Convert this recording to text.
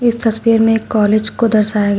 तस्वीर में एक कॉलेज को दर्शाया गया--